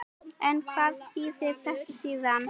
En hvað þýðir þetta síðan?